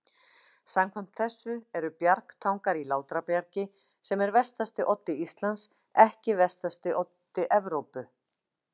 Samkvæmt þessu eru Bjargtangar í Látrabjargi, sem er vestasti oddi Íslands, ekki vestasti oddi Evrópu.